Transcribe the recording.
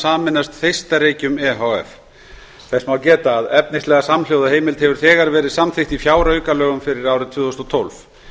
sameinast þeistareykjum e h f þess má geta að efnislega samhljóða heimild hefur þegar verið samþykkt í fjáraukalögum fyrir árið tvö þúsund og tólf